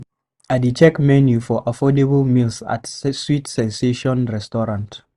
I dey check menu for affordable meals at Sweet Sensation restaurant.